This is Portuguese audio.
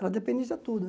Ela tudo, né?